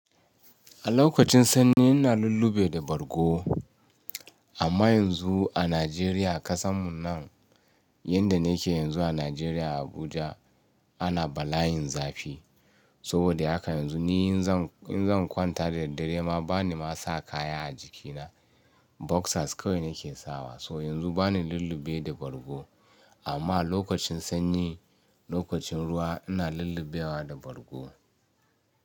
A lokacin sanyi ina lullube da bargo. Amma yanzu a Najeriya ƙasanmu nan, yanda nake yanzu a Najeriya Abuja ana balayin zafi. Saboda haka yanzu ni in zan in zan kwanta da daddare ma bani ma sa kaya a jikina. Boxers kawai nake sawa. So yanzu bani lullube da bargo. Amma lokacin sanyi, lokacin ruwa ina lullubewa da bargo.